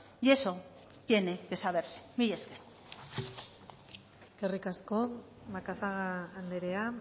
y eso tiene que saberse mila esker eskerrik asko macazaga andrea